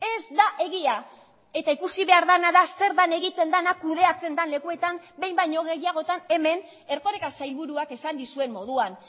ez da egia eta ikusi behar dena da zer den egiten dena kudeatzen den lekuetan behin baino gehiagotan hemen erkoreka sailburuak esan dizuen moduan